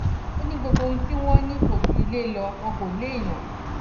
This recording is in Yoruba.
ó ní gbogbo ohun tí wọn ní kò ju ilé lọ wọn kò léèyàn